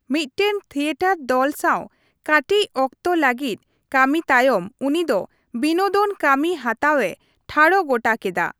ᱢᱫᱴᱮᱱ theatre ᱫᱚᱞ ᱥᱟᱸᱣ ᱠᱟᱹᱴᱤᱪ ᱚᱠᱛᱮ ᱞᱟᱹᱜᱤᱫ ᱠᱟᱹᱢᱤ ᱛᱟᱭᱚᱢ ᱩᱱᱤ ᱫᱚ ᱵᱤᱱᱳᱫᱚᱱ ᱠᱟᱹᱢᱤ ᱦᱟᱛᱟᱣᱮ ᱴᱷᱟᱲᱜᱚᱴᱟ ᱠᱮᱫᱟ ᱾